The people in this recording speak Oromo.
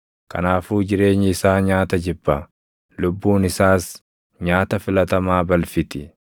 kanaafuu jireenyi isaa nyaata jibba; lubbuun isaas nyaata filatamaa balfiti.